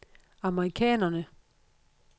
amerikanerne